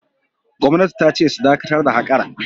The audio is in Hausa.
Gwamnati ta ce su dakatar da haƙar!